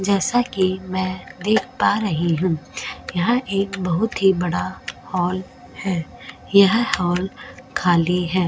जैसा कि मैं देख पा रही हूं यहां एक बहुत ही बड़ा हॉल है यह हॉल खाली है।